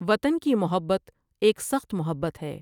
وطن کی محبت ایک سخت محبت ہے ۔